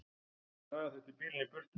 Draga þurfti bílinn í burtu.